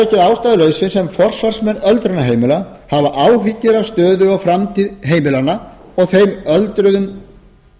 ástæðulausu sem forsvarsmenn öldrunarheimila hafa áhyggjur af stöðu og framtíð heimilanna og þeim öldruðum